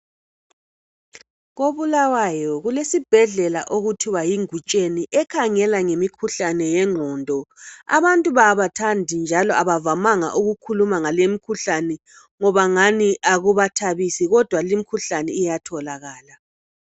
KoBulawayo kulesibhedlela okuthiwa yi Ngutsheni ekhangela ngemikhuhlane yenqondo. Abantu abathandi njalo abavamanga ukukhuluma ngale imkhuhlane ngoba ngani akubathabisi, kodwa limkhuhlani iyatholakala.